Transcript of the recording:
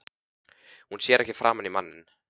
Hún sér ekki framan í manninn.